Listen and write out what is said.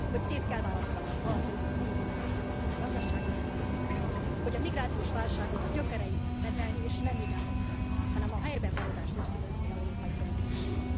Hogy szét kell választani a valódi menekülteket a gazdasági bevándorlóktól, hogy a migrációs válságot a gyökereinél kezelni és nem idevonzani, hanem a helyben maradást ösztönözni európai politikákkal.